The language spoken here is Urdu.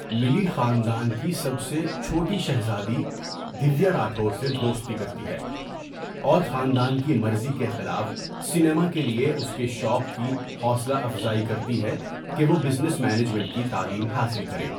ملی خاندان کی سب سے چھوٹی شہزادی دیویا راٹھور سے دوستی کرتی ہے، اور خاندان کی مرضی کے خلاف سنیما کے لیے اس کے شوق کی حوصلہ افزائی کرتی ہے کہ وہ بزنس مینجمنٹ کی تعلیم حاصل کرے۔